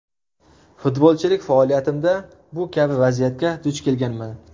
Futbolchilik faoliyatimda bu kabi vaziyatga duch kelganman.